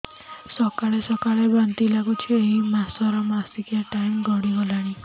ସକାଳେ ସକାଳେ ବାନ୍ତି ଲାଗୁଚି ଏଇ ମାସ ର ମାସିକିଆ ଟାଇମ ଗଡ଼ି ଗଲାଣି